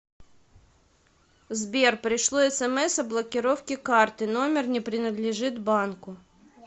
сбер пришло смс о блокировке карты номер не принадлежит банку